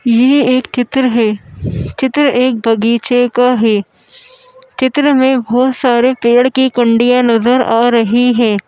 ये एक चित्र है चित्र एक बगीचे का है चित्र में बहोत सारे पेड़ की कुंडिया नजर आ रही है।